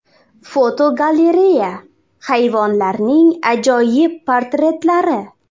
Fotogalereya: Hayvonlarning ajoyib portretlari.